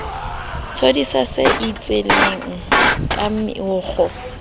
thodisa se itsheleng ka meokgo